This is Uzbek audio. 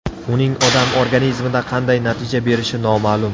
Uning odam organizmida qanday natija berishi noma’lum.